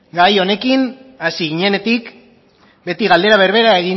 gai honekin hasi ginenetik beti galdera berbera